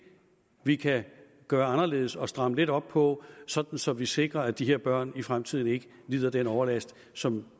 vi kan gøre anderledes og stramme lidt op på så så vi sikrer at de her børn i fremtiden ikke lider den overlast som